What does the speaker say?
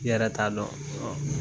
I yɛrɛ t'a dɔn